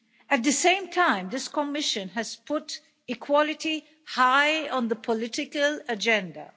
At the same time, this Commission has put equality high on the political agenda.